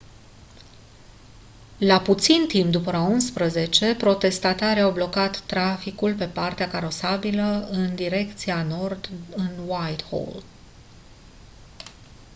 la puțin timp după ora 11:00 protestatarii au blocat traficul pe partea carosabilă în direcția nord în whitehall